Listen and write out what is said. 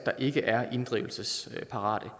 ikke er inddrivelsesparate